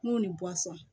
N'o ni